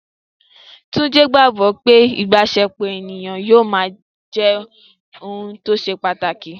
Túnjí gbogbo pé ìbáṣepọ̀ ènìyàn yóò máa jẹ́ ohun tó ṣe pàtàkì